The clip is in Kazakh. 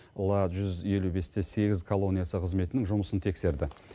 ла жүз елу бес те сегіз колониясы қызметінің жұмысын тексерді